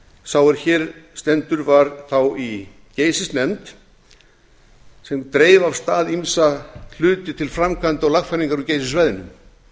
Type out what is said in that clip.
sá er hér stendur var þá í geysisnefnd sem dreif af stað ýmsa hluti til framkvæmda og lagfæringar á geysissvæðinu